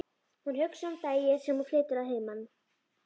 Hún hugsar um daginn sem hún flytur að heiman.